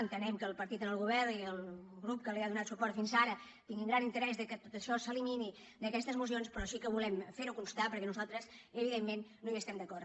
entenem que el partit en el govern i el grup que li ha donat suport fins ara tinguin gran interès que això s’elimini d’aquestes mocions però sí que volem ferho constar perquè nosaltres evidentment no hi estem d’acord